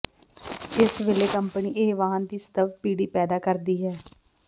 ਇਸ ਵੇਲੇ ਕੰਪਨੀ ਇਹ ਵਾਹਨ ਦੀ ਸਤਵ ਪੀੜ੍ਹੀ ਪੈਦਾ ਕਰਦੀ ਹੈ